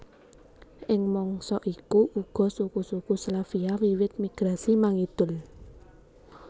Ing mangsa iku uga suku suku Slavia wiwit migrasi mangidul